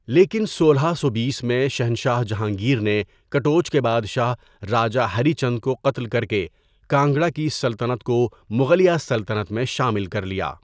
لیکن سولہ سو بیس میں شہنشاہ جہانگیر نے کٹوچ کے بادشاہ راجا ہری چند کو قتل کر کے کانگڑا کی سلطنت کو مغلیہ سلطنت میں شامل کر لیا.